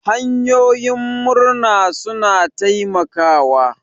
Hanyoyin murna suna taimakawa.